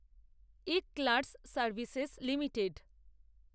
eClerx services limited